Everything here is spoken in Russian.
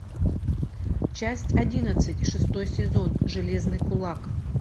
часть одиннадцать шестой сезон железный кулак